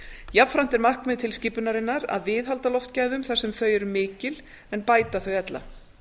jafnframt er markmið tilskipunarinnar að viðhalda loftgæðum þar sem þau eru mikil en bæta þau ella